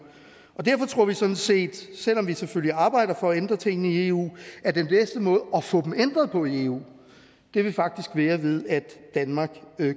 derfor tror vi sådan set selv om vi selvfølgelig arbejder for at ændre tingene i eu at den bedste måde at få dem ændret på i eu faktisk vil være ved at danmark